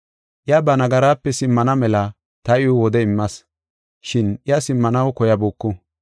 Iya ba nagaraape simmana mela ta iw wode immas, shin iya simmanaw koyabuku.